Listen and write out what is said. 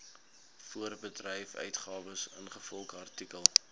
voorbedryfsuitgawes ingevolge artikel